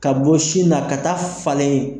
Ka bɔ sin na ka taa falen.